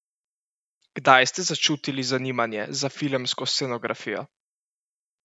Kdaj ste začutili zanimanje za filmsko scenografijo?